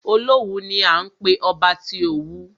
Olówù ni à ń pé ọba tí Òwu.